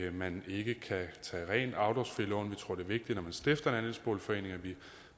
at man ikke kan tage rent afdragsfri lån vi tror er vigtigt når man stifter en andelsboligforening og vi